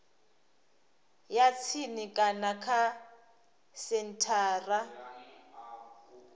ya tsini kana kha senthara